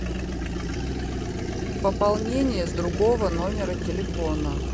пополнение с другого номера телефона